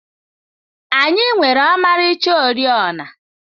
Anyị nwere ọmarịcha oriọna.